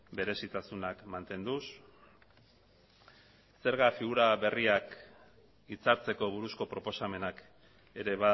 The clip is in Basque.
berezitasunak mantenduz zerga figura berriak hitzartzeko buruzko proposamenak ere